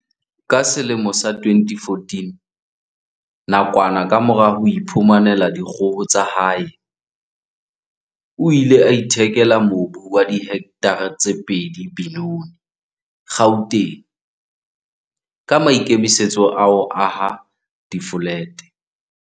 Ka selemo sa 2014, nakwana kamora ho iphumanela dikgoho tsa hae, o ile a ithekela mobu wa dihektare tse pedi Benoni, Gauteng, ka maikemisetso a ho aha difolete.